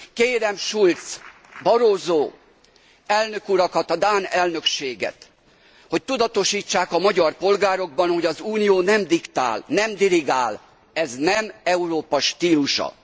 Kérem Schulz, Barroso elnök urakat, a dán elnökséget, hogy tudatosítsák a magyar polgárokban, hogy az Unió nem diktál, nem dirigál, ez nem Európa stílusa.